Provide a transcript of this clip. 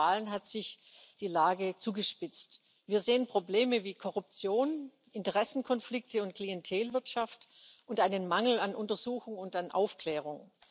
Und seit den Wahlen hat sich die Lage zugespitzt. Wir sehen Probleme wie Korruption, Interessenkonflikte und Klientelwirtschaft und einen Mangel an Untersuchung und an Aufklärung.